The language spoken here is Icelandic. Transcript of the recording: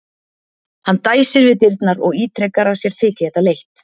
Hann dæsir við dyrnar og ítrekar að sér þyki þetta leitt.